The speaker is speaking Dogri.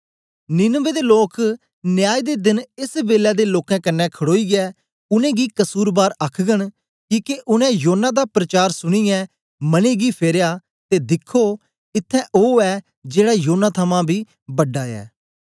नीनवे दे लोक न्याय दे देन एस बेलै दे लोकें कन्ने खडोईयै उनेंगी कसुरबार आखघन किके उनै योना दा प्रचार सुनीयै मने गी फेरया ते दिखो इत्त्थैं ओ ऐ जेड़ा योना थमां बी बड़ा ऐ